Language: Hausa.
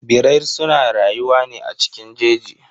Birrai suna rayuwa ne a cikin jeji.